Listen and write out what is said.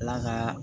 Ala ka